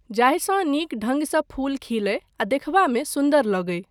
जाहिसँ नीक ढङ्गसँ फूल खिलय आ देखबामे सुन्दर लगय।